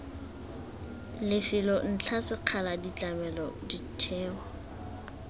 lefelo ntlha sekgala ditlamelo ditheo